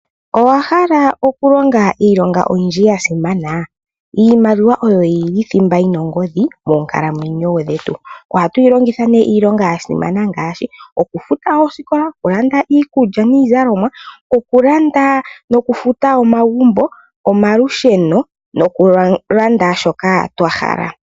Owa hala oku longa iilonga oyindji ya simana iimaliwa oyo yili thimba yina yongodhi moonkalamwenyo dhetu. Ohatu yi longitha ne iilonga ya simana ngaashi oku futa oosikola, oku landa iikulya niizalomwa oku landa nokufuta omagumbo, omalusheno noku landa shoka twa hala.